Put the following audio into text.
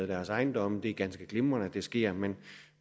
deres ejendom det er ganske glimrende at det sker men